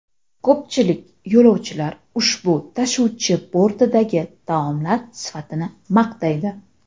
Ko‘pchilik yo‘lovchilar ushbu tashuvchi bortidagi taomlar sifatini maqtaydi.